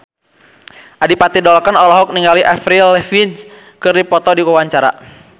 Adipati Dolken olohok ningali Avril Lavigne keur diwawancara